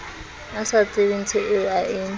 a sa tsebenthoeo a e